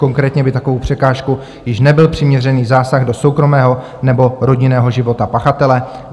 Konkrétně by takovou překážkou již nebyl přiměřený zásah do soukromého nebo rodinného života pachatele.